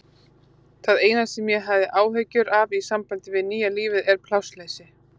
Það eina sem ég hef áhyggjur af í sambandi við nýja lífið er plássleysi.